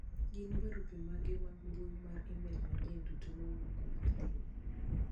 gin barupe mag mbui mar email manyien duto mowuok kuom Halima